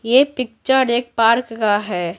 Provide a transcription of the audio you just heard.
ये पिक्चर एक पार्क का है।